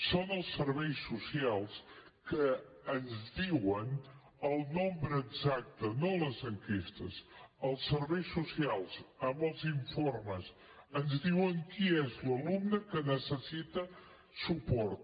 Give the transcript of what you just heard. són els serveis socials que ens en diuen el nombre exacte no les enquestes els serveis socials amb els informes ens diuen qui és l’alumne que necessita suport